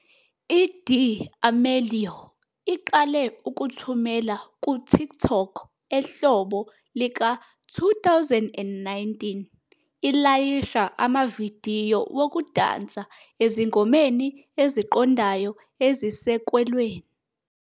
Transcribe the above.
I-D'Amelio iqale ukuthumela ku-TikTok ehlobo lika-2019, ilayisha amavidiyo wokudansa ezingomeni eziqondayo ezisekelweni.